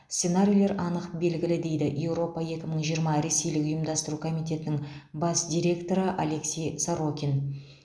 сценарийлер анық белгілі дейді еуропа екі мың жиырма ресейлік ұйымдастыру комитетінің бас директоры алексей сорокин